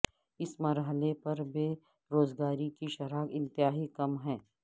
اس مرحلے پر بے روزگاری کی شرح انتہائی کم ہے